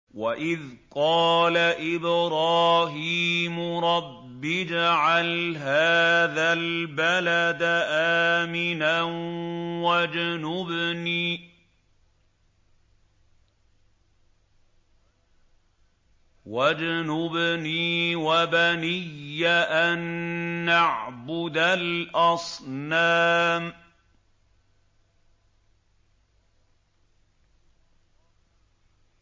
وَإِذْ قَالَ إِبْرَاهِيمُ رَبِّ اجْعَلْ هَٰذَا الْبَلَدَ آمِنًا وَاجْنُبْنِي وَبَنِيَّ أَن نَّعْبُدَ الْأَصْنَامَ